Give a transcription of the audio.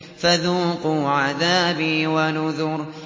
فَذُوقُوا عَذَابِي وَنُذُرِ